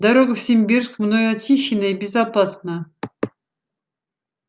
дорога в симбирск мною очищена и безопасна